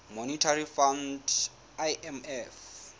monetary fund imf